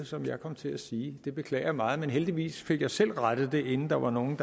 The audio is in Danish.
som jeg kom til at sige det beklager jeg meget men heldigvis fik jeg selv rettet det inden der var nogen